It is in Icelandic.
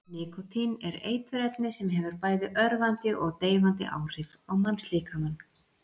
Nikótín er eiturefni sem hefur bæði örvandi og deyfandi áhrif á mannslíkamann.